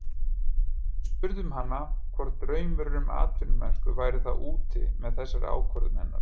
Við spurðum hana hvort draumurinn um atvinnumennsku væri þá úti með þessari ákvörðun hennar?